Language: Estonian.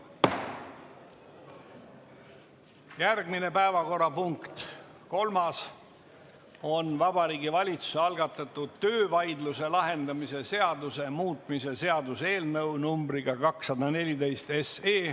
Järgmine, kolmas päevakorrapunkt on Vabariigi Valitsuse algatatud töövaidluse lahendamise seaduse muutmise seaduse eelnõu numbriga 214.